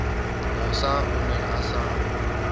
mosa o ne a sa